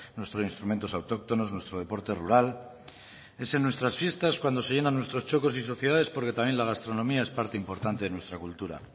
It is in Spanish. nuestros instrumentos autóctonos nuestro deporte rural es en nuestras fiestas cuando se llenan nuestros txokos y sociedades porque también la gastronomía es parte importante en nuestra cultura